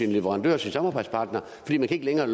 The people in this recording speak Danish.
leverandører og samarbejdspartnere fordi de ikke længere